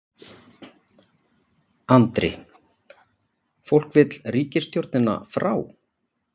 Andri: Fólk vill ríkisstjórnina frá?